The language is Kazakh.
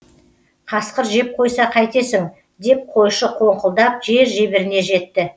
қасқыр жеп қойса қайтесің деп қойшы қоңқылдап жер жебіріне жетті